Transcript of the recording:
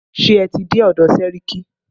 Ṣé ẹ tí dé ọ̀dọ̀ sẹ́ríkí?